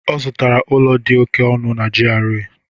Ọ zụtara ụlọ dị oke ọnụ na GRA.